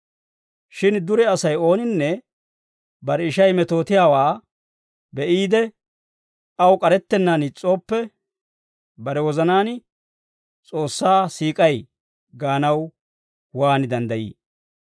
Shin dure Asay ooninne bare ishay metootiyaawaa be'iide, aw k'arettennaan is's'ooppe, bare wozanaan S'oossaa siik'ay gaanaw waan danddayii?